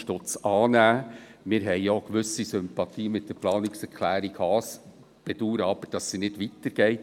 Wir haben auch eine gewisse Sympathie für die Planungserklärung Haas, bedauern aber, dass sie nicht weiter geht.